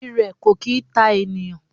Irẹ kò kì í ta ènìyàn.